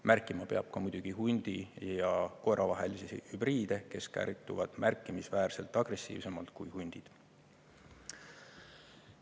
Märkima peab muidugi ka hundi ja koera vahelisi hübriide, kes käituvad märkimisväärselt agressiivsemalt kui hundid.